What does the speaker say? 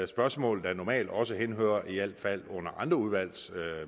spørgsmål der normalt også henhører i al fald under andre udvalgs